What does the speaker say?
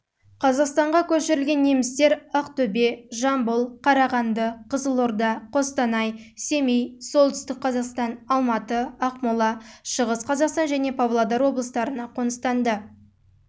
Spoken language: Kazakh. қазақстанға көшірілген немістер ақтөбе жамбыл қарағанды қызылорда қостанай семей солтүстік қазақстан алматы ақмола шығыс қазақстан және павлодар облыстарына